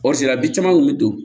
caman kun bɛ don